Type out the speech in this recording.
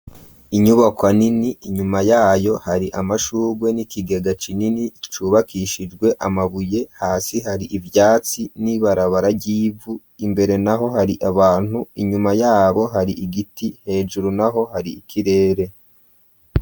Inyubako anini inyuma yayo hari amashurwe n'ikigega cinini cubakishijwe amabuye hasi hari ivyatsi n'ibarabara ryivu imbere na ho hari abantu inyuma yabo hari igiti hejuru na ho hari ikirere.